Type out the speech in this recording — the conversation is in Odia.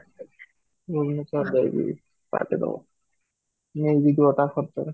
ଭୁବନେଶ୍ୱର ଯାଇକି party ଦବ ଯିବ ତା ଖର୍ଚ୍ଚ ରେ